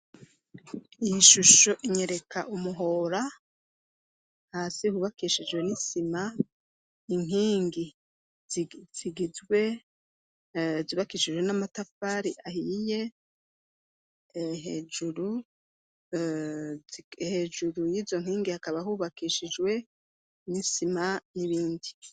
Ikigo c'ishuri gifise umurombero muremure cane abanyeshuri bacamwe iyo basohotsi iyo bagiye cinwewo bagarutse ikiggo c'ishubri ikaba carobakishijwe amwa n'amatafari ahihe ikiba gifise n'umurombero umuremure hejuru n'a bakabora n'amabati bashize kugira ngo hase neza.